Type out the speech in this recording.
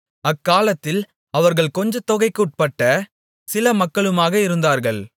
அக்காலத்தில் அவர்கள் கொஞ்சத் தொகைக்குட்பட்ட சில மக்களுமாக இருந்தார்கள்